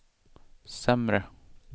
sämre